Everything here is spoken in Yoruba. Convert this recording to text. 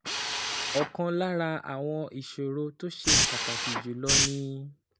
Ọ̀kan lára àwọn ìṣòro tó ṣe pàtàkì jù lọ ni